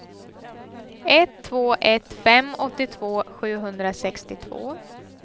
ett två ett fem åttiotvå sjuhundrasextiotvå